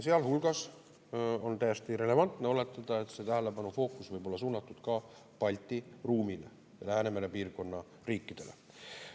Sealhulgas on täiesti relevantne oletada, et see tähelepanu fookus võib olla suunatud ka Balti ruumile ja Läänemere piirkonna riikidele.